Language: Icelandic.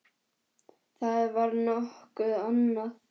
. það var nokkuð annað.